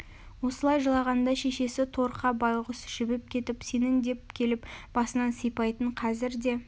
осылай жылағанда шешесі торқа байғүс жібіп кетіп сенің деп келіп басынан сипайтын қазір де